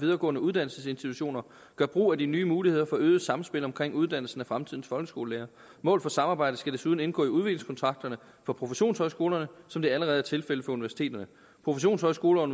videregående uddannelsesinstitutioner gør brug af de nye muligheder for øget samspil omkring uddannelsen af fremtidens folkeskolelærere mål for samarbejde skal desuden indgå i udviklingskontrakterne for professionshøjskolerne som det allerede er tilfældet for universiteterne professionshøjskoler